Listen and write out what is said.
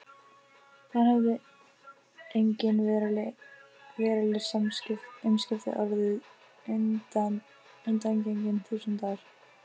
Þar höfðu engin veruleg umskipti orðið undangengin þúsund ár.